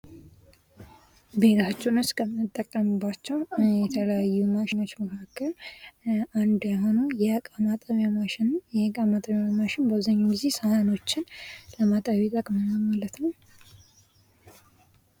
ቤታችን ውስጥ ከምንጠቀምባቸው የተለያዩ ማሸኖች መካከል አንዱ የሆነው የእቃ ማጠቢያ ማሽን ነው ። ይህ የእቃ ማጠቢያ ማሽን በአብዛኛው ጊዜ ሳህኖችን ለማጠብ ይጠቅመናል ማለት ነው ።